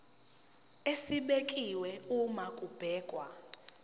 esibekiwe uma kubhekwa